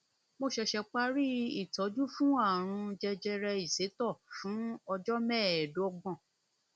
mo ṣẹṣẹ parí ìtọjú fún ààrùn jẹjẹrẹ ìsétọ fún ọjọ mẹẹẹdọgbọn